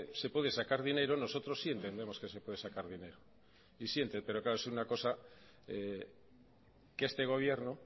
se puede sacar dinero nosotros sí entendemos que se puede sacar dinero pero claro es una cosa que este gobierno